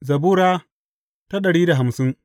Zabura Sura dari da hamsin